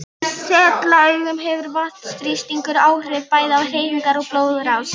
Í setlaugum hefur vatnsþrýstingur áhrif bæði á hreyfingar og blóðrás.